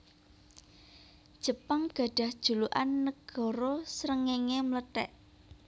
Jepang gadhah julukan Nagara Srengéngé Mlethèk